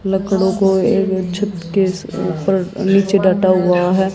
लकड़ों को एक छत केस ऊपर नीचे डटा हुआ है।